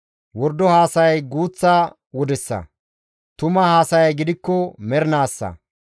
Wordo haasayay guuththa wodessa; tuma haasayay gidikko mernaassa.